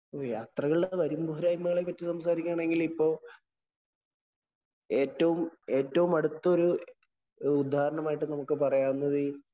യാത്രകളുടെ വരും പോരായ്മകളെ കുറിച്ച് സംസാരിക്കുകയാണെങ്കില്‍ ഇപ്പൊ ഏറ്റവും ഏറ്റവും അടുത്തൊരു ഉദാഹരണമായിട്ട് നമുക്ക് പറയാവുന്നത്